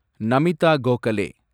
Namitha Gokhale